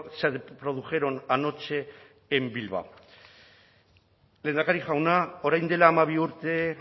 se produjeron anoche en bilbao lehendakari jauna orain dela hamabi urte